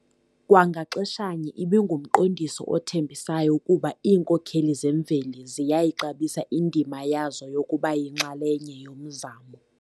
Kwa ngaxeshanye ibingumqondiso othembisayo wokuba iinkokheli zemveli ziyayixabisa indima yazo yokuba yinxalenye yomzamo..